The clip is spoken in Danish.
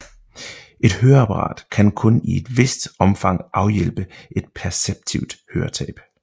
Et høreapparat kan kun i et vist omfang afhjælpe et perceptivt høretab